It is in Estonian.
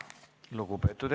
Esimene lugemine on lõpetatud.